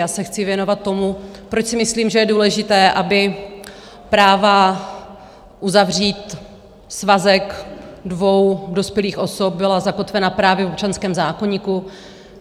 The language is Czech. Já se chci věnovat tomu, proč si myslím, že je důležité, aby práva uzavřít svazek dvou dospělých osob byla zakotvena právě v občanském zákoníku.